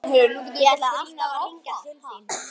Ég ætlaði alltaf að hringja til þín, Sif.